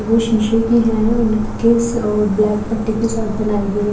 वो शीशे की है और ब्लैक पट्टी के साथ बनाई गई हैं।